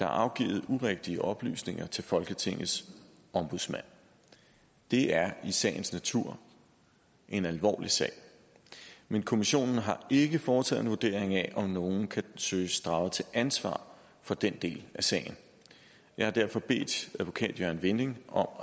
afgivet urigtige oplysninger til folketingets ombudsmand det er i sagens natur en alvorlig sag men kommissionen har ikke foretaget en vurdering af om nogen kan søges draget til ansvar for den del af sagen jeg har derfor bedt advokat jørgen vinding om